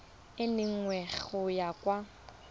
e nngwe go ya kwa